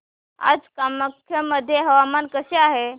आज कामाख्या मध्ये हवामान कसे आहे